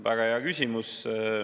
Väga hea küsimus.